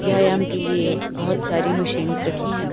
व्यायाम के लिए बहोत सारी मशीन्स रखी है।